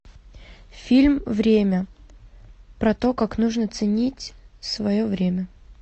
фильм время про то как нужно ценить свое время